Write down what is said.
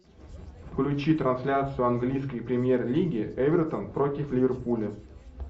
включи трансляцию английской премьер лиги эвертон против ливерпуля